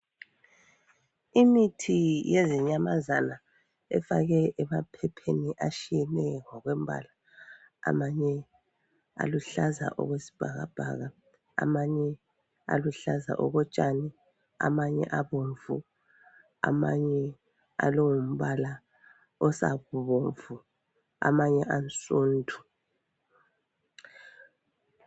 Imithi yezinyamazana efakwe emaphepheni atshiyeneyo ngokwembala amanye aluhlaza okwesibhakabhaka, amanye aluhlaza okotshani, amanye abomvu, amanye alongumbala osabomvu amanye ansundu